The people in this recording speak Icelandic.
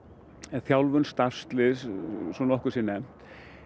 þjálfun starfsliðs svo nokkuð sé nefnt